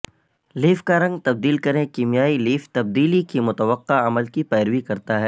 leaf کا رنگ تبدیل کریں کیمیائی لیف تبدیلی کی متوقع عمل کی پیروی کرتا ہے